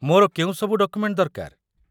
ମୋର କେଉଁ ସବୁ ଡକୁମେଣ୍ଟ ଦରକାର?